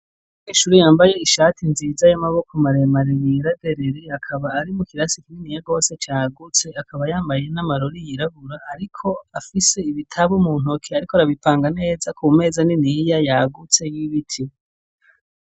Umunyeshuri yambaye ishati nziza y'amaboko maremare yera derere .Akaba ari mu kirasi kinini ya rwose cagutse akaba yambaye n'amarori yirabura ariko afise ibitabo mu ntoke ariko arabipanga neza ku meza niniya yagutse y'ibiti.